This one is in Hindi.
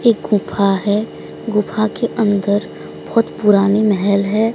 एक गुफा है गुफा के अंदर बहोत पुरानी मेहल है।